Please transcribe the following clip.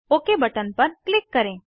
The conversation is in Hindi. ओक बटन पर क्लिक करें